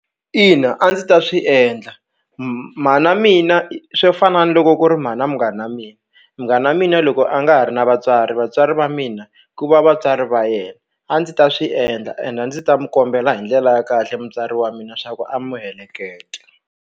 Ina a ndzi ta swi endla mhana mina swo fana na loko ku ri mhana munghana mina munghana mina loko a nga ha ri na vatswari vatswari va mina ku va vatswari va yena a ndzi ta swi endla and a ndzi ta mu kombela hi ndlela ya kahle mutswari wa mina swa ku a mu heleketa.